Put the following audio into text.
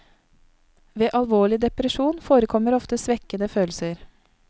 Ved alvorlig depresjon forekommer ofte svekkede følelser.